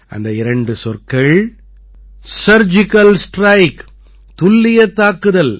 அந்த இரண்டு சொற்கள் சர்ஜிகல் ஸ்ட்ரைக் துல்லியத் தாக்குதல்